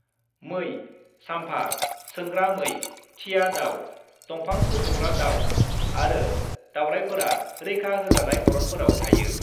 मै, साम्भर, सोंग्रा मै, थिया दाउ, दंफां सौख'ग्रा दाउ आरो दावरायफोरा रैखा होजानाय अरनफोराव थायो।